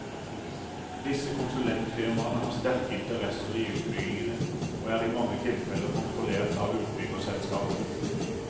Disse konsulentfirmaene har sterke interesser i utbyggingene, og er i mange tilfeller kontrollert av utbyggerselskapene.